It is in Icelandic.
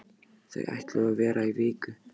Þau ætluðu að vera í viku.